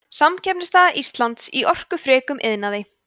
samkeppnisstaða íslands í orkufrekum iðnaði